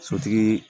Sotigi